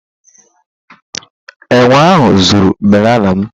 Enwe ahụ zuru banànà m.